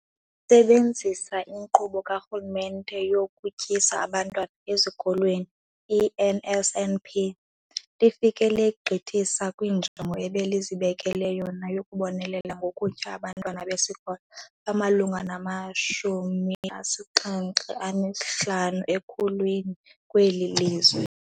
Lisebenzisa iNkqubo kaRhulumente yokuTyisa Abantwana Ezikolweni, i-NSNP, lifike legqithisa kwinjongo ebelizibekele yona yokubonelela ngokutya abantwana besikolo abamalunga nama-75 ekhulwini kweli lizwe.